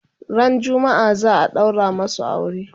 ran jumma'a zaa daura masu aure